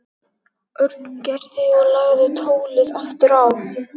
Örn Gerði og lagði tólið aftur á.